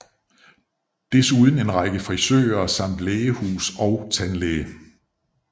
Desuden en række frisører samt lægehus og tandlæge